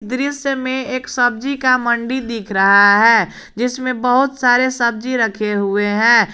दृश्य में एक सब्जी का मंडी दिख रहा है जिसमें बहुत सारे सब्जी रखे हुए हैं।